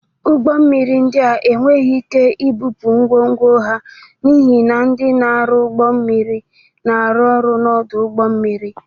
Ụgbọ mmiri ndị a enweghị ike ibupụ ngwongwo ha n'ihi na ndị ọrụ ụgbọ mmiri na-arụ ọrụ n'ọdụ ụgbọ mmiri.